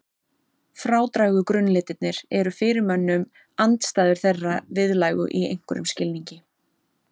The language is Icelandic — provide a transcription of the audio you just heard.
Frádrægu grunnlitirnir eru fyrir mönnum andstæður þeirra viðlægu í einhverjum skilningi.